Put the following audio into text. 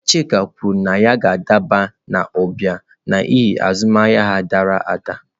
Chike kwuru na ya ga-adaba n'ụba n'ihi azụmahịa ya dara ada.